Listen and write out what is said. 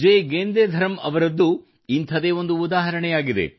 J ಗೆಂದೆಧರಮ್ ಅವರದ್ದೂ ಇಂಥದೇ ಒಂದು ಉದಾಹರಣೆಯಾಗಿದೆ